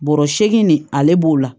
Bɔrɔ seegin nin ale b'o la